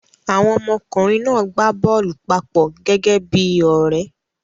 Àwọn ọmọkùnrin náà gbá bọ́ọ́lù papọ̀ gẹ́gẹ́ bí i ọ̀rẹ́.